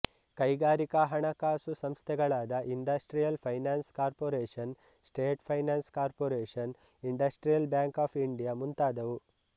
ಕೈಗಾರಿಕಾ ಹಣಕಾಸು ಸಂಸ್ಥೆಗಳಾದ industrial finance corporation state finance corporation industrial bank of India ಮುಂತಾದವು